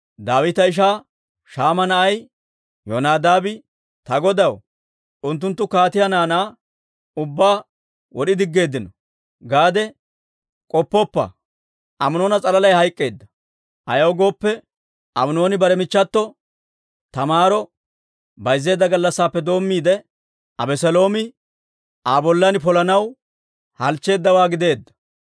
Daawita ishaa Shaama na'ay Yonadaabi, «Ta godaw, Unttunttu kaatiyaa naanaa ubbaa wod'i diggeeddino gaade k'oppoppa; Aminoona s'alalay hayk'k'eedda. Ayaw gooppe, Aminooni bare michchato Taamaaro bayzzeedda gallassaappe doommiide, Abeseeloomi Aa bollan polanaw halchcheeddawaa gideedda.